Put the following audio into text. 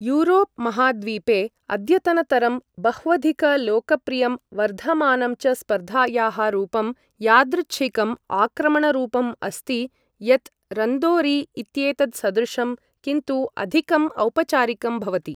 Europe महाद्वीपे अद्यतनतरं बह्वधिकलोकप्रियं वर्धमानं च स्पर्धायाः रूपं यादृच्छिकम् आक्रमणरूपम् अस्ति, यत् रन्दोरी इत्येतत्सदृशं किन्तु अधिकम् औपचारिकं भवति।